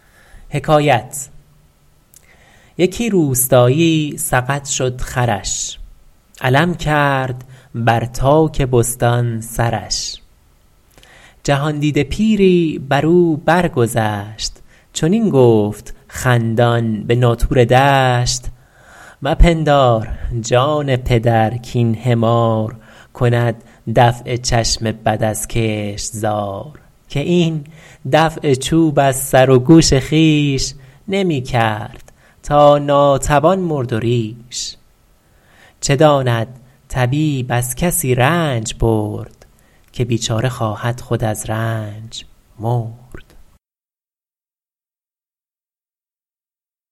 یکی روستایی سقط شد خرش علم کرد بر تاک بستان سرش جهاندیده پیری بر او بر گذشت چنین گفت خندان به ناطور دشت مپندار جان پدر کاین حمار کند دفع چشم بد از کشتزار که این دفع چوب از سر و گوش خویش نمی کرد تا ناتوان مرد و ریش چه داند طبیب از کسی رنج برد که بیچاره خواهد خود از رنج مرد